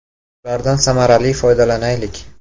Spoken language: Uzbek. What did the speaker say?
Ulardan samarali foydalanaylik.